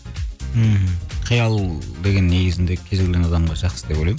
мхм қиял деген негізінді кез келген адамға жақсы деп ойлаймын